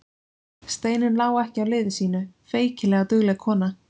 Steinunn lá ekki á liði sínu, feykilega dugleg kona.